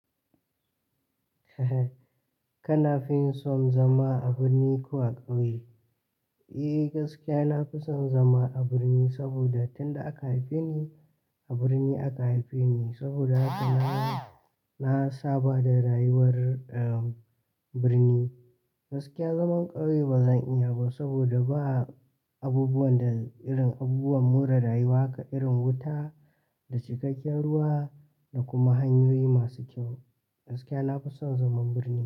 Kana fin son zama a birni ko a ƙauye? Eh, gaskiya na fi son zama a birni saboda tunda aka haife ni a birni aka haife ni saboda haka na, na saba da rayuwar, birni. Gaskiya zaman ƙauye ba zan iya ba saboda ba abubuwan da irin abubuwan more rayuwa ka irin wuta da cikakken ruwa da kuma hanyoyi masu kyau. Gaskiya na fi son zaman birni.